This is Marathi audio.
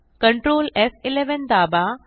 Ctrl एफ11 दाबा